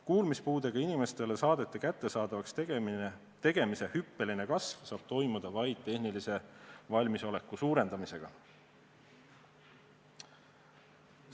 Kuulmispuudega inimestele saadete kättesaadavaks tegemise hüppeline kasv saab toimuda vaid tehnilise valmisoleku suurendamisega.